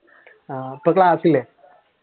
ആഹ് ഇപ്പൊ ക്ലാസ് ഇല്ലേ?